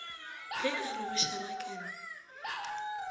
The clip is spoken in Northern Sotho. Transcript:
ge a re go šarakane